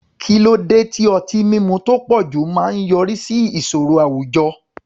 Kí ló dé tí ọtí mímu tó pọ̀jù máa ń yọrí sí ìṣòro àwùjọ?